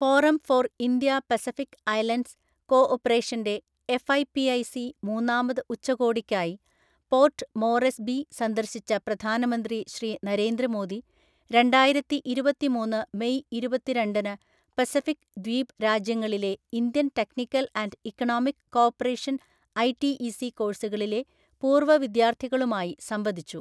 Forum for India Pacific Islands കോ ഓപ്പറേഷന്റെ FIPIC മൂന്നാമത് ഉച്ചകോടിക്കായി പോർട്ട് മോറെസ്ബി സന്ദർശിച്ച പ്രധാനമന്ത്രി ശ്രീ നരേന്ദ്ര മോദി രണ്ടായിരത്തിഇരുപത്തിമൂന്ന് മെയ് ഇരുപത്തിരണ്ടിനു പസഫിക് ദ്വീപ് രാജ്യങ്ങളിലെ Indian technical and economic cooperation ITEC കോഴ്സുകളിലെ പൂർവ്വ വിദ്യാർത്ഥികളുമായി സംവദിച്ചു.